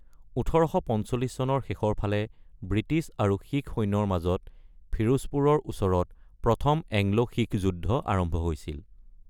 ১৮৪৫ চনৰ শেষৰ ফালে ব্ৰিটিছ আৰু শিখ সৈন্যৰ মাজত ফিৰোজপুৰৰ ওচৰত প্ৰথম এংলো-শিখ যুদ্ধ আৰম্ভ হৈছিল।